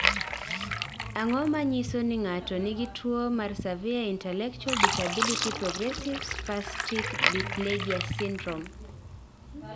Ang�o ma nyiso ni ng�ato nigi tuo mar Severe intellectual disability progressive spastic diplegia syndrome?